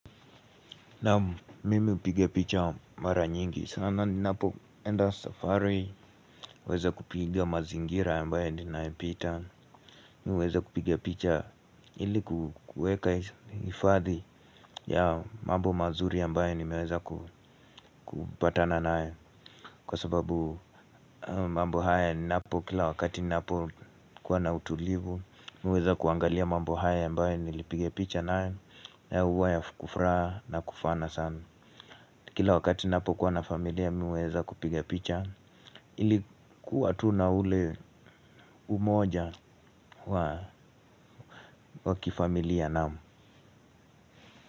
Naam mimi hupiga picha mara nyingi, sana ninapoenda safari, huweza kupiga mazingira ambaye ninaipita. Mimi huweza kupiga picha ili kueka hifadhi ya mambo mazuri ambaye nimeweza kupatana nae. Kwa sababu mambo haya ninapokila wakati ninapokuwa na utulivu. Mimi huweza kuangalia mambo haya ambaye nilipiga picha nae na huwa ya kufraa na kufana sana. Kila wakati napokuwa na familia mimi huweza kupiga picha. Ili kuwa tu na ule umoja wa kifamilia naam.